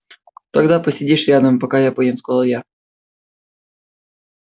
тогда посидишь рядом пока я поем сказал я